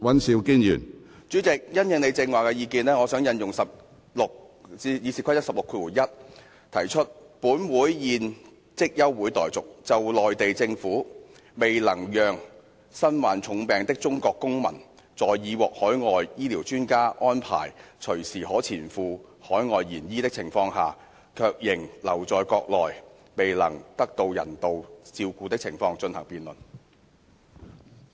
主席，因應你剛才的意見，我想引用《議事規則》第161條提出，本會現即休會待續，就內地政府未能讓身患重病的中國公民在已獲海外醫療專家安排隨時可前赴海外延醫的情況下，卻仍留在國內未能得到人道照顧的情況進行辯論。